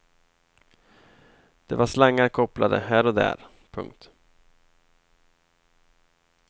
Det var slangar kopplade här och där. punkt